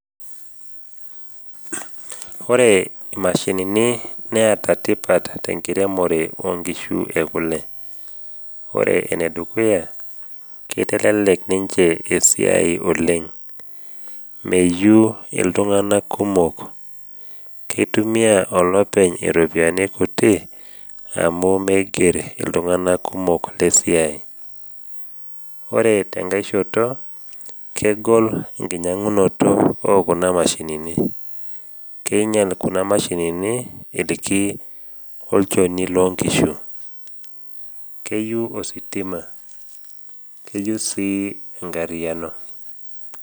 Ore imashinini neata tipat tenkiremore o nkishu e kule. Ore enedukuya, keitelelek ninche esiai oleng, meyeu iltung’ana kumok, keitumia olopeny iropiani kuti amu meiger iltung’ana kumok le siai. Ore tenkaishoto, kegol enkinyang’unoto o kuna mashinini, keinyal kuna mashinini ilki olchoni loo nkishu, keyeu ositima, keyeu sii enkaryiano.